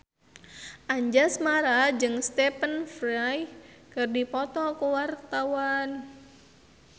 Anjasmara jeung Stephen Fry keur dipoto ku wartawan